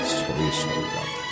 Soy soyladı.